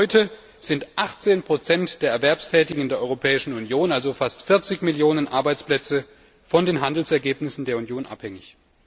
Bereits heute sind 18 der Erwerbstätigen der Europäischen Union, also fast 40 Millionen Arbeitsplätze, von den Handelsergebnissen der Union abhängig.